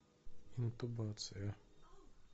интубация